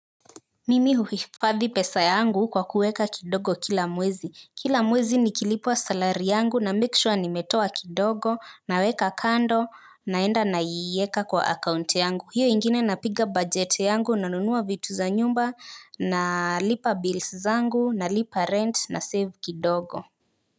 Mimi huhifadhi pesa yangu kwa kuweka kidogo kila mwezi. Kila mwezi nikilipwa salari yangu na make sure nimetoa kidogo. Naweka kando naenda na iweka kwa akaunti yangu. Hiyo ingine napiga bujeti yangu na nunua vitu za nyumba. Na lipa bills zangu na lipa rent na save kidogo.